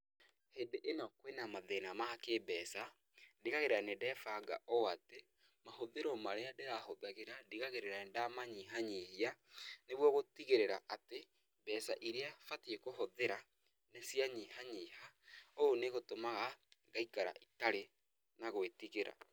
Hĩndĩ ĩno kwĩ na mathĩna ma kĩmbeca, ndigagĩrĩra nĩ ndebanga o atĩ, mahũthĩro marĩa ndĩrahũthagĩra ndigagĩrĩra nĩndamanyihanyihia niguo gũtigĩrĩra atĩ, mbeca iria batie kũhũthĩra nicianyihanyiha. Ũũ nĩ gũtũmaga ngaikara itarĩ na gwĩtigĩra.